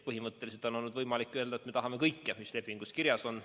Põhimõtteliselt on olnud võimalik öelda, et me tahame kõike, mis lepingus kirjas on.